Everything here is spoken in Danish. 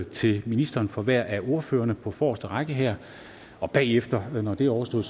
til ministeren fra hver af ordførerne på forreste række her bagefter når det er overstået